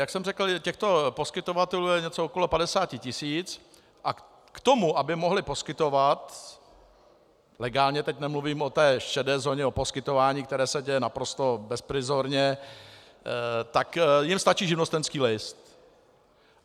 Jak jsem řekl, těchto poskytovatelů je něco okolo 50 tisíc a k tomu, aby mohli poskytovat legálně - teď nemluvím o té šedé zóně, o poskytování, které se děje naprosto bezprizorně, tak jim stačí živnostenský list.